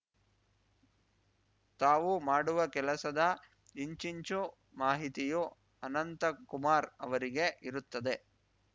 ತಾವು ಮಾಡುವ ಕೆಲಸದ ಇಂಚಿಂಚು ಮಾಹಿತಿಯೂ ಅನಂತ ಕುಮಾರ್‌ ಅವರಿಗೆ ಇರುತ್ತದೆ